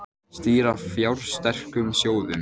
Stýra fjársterkum sjóðum